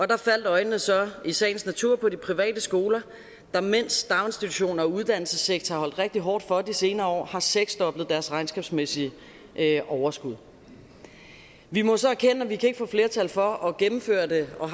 der faldt øjnene så i sagens natur på de private skoler der mens daginstitutioner og uddannelsessektoren har rigtig hårdt for de senere år har seksdoblet deres regnskabsmæssige overskud vi må så erkende at vi ikke kan få flertal for at gennemføre det og